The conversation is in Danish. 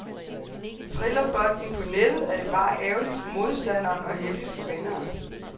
Triller bolden på nettet, er det bare ærgeligt for modstanderen og heldigt for vinderen.